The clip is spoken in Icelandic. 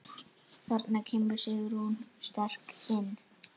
Þarna kemur Sigrún sterk inn.